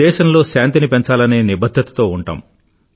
దేశంలో శాంతిని పెంచాలనే నిబధ్ధతతో ఉంటాం